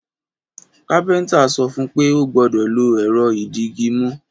Kápéntà sọ fún pé ó gbódò lo èrọ ìdigimú